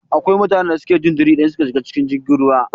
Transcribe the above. Akwai mutanen da suke jin jiri idan suka shiga cikin jirgin ruwa